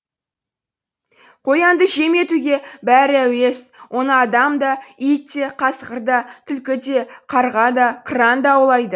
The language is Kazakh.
қоянды жем етуге бәрі әуес оны адам да ит те қасқыр да түлкі де қарға да қыран да аулайды